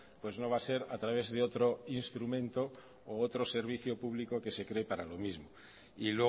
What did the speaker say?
pues no va a ser a través de otro instrumento u otro servicio público que se cree para lo mismo y